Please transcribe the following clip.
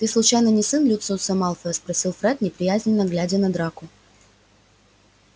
ты случайно не сын люциуса малфоя спросил фред неприязненно глядя на драко